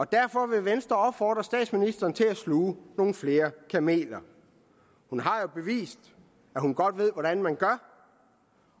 derfor vil venstre opfordre statsministeren til at sluge nogle flere kameler hun har jo bevist at hun godt ved hvordan man gør